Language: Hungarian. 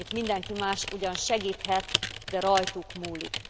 Itt mindenki más ugyan segíthet, de rajtuk múlik.